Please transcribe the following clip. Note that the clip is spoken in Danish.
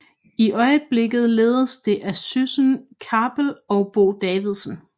I øjeblikket ledes det af Syssen Kappel og Bo Davidsen